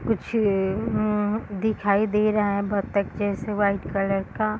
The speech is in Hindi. कुछ अम दिखाई दे रहा है बतख जैसे वाइट कलर का।